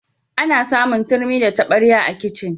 Ana samun turmi da tabarya a kicin.